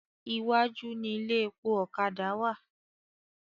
Iwájú ni ilé epo ọ̀kadà wà.